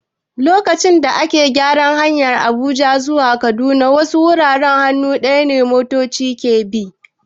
Lokacin da ake gyara hanyar Abuja zuwa Kaduna, wasu wuraren hannu ɗaya motoci ke bi.